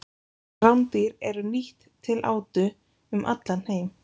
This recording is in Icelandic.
Rándýr eru nýtt til átu um allan heim.